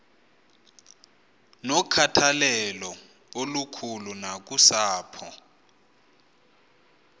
nokhathalelo olukhulu nakusapho